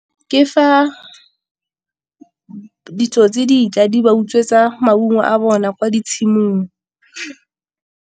Ke fa ditsotsi di tla di ba utswetsa maungo a bona kwa ditshimong.